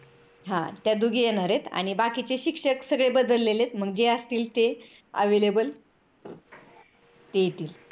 हा त्या दोघी येणार आहेत आणि मग बाकीचे शिक्षक सगळे बदललेले आहेत मग जे असतील ते available येतील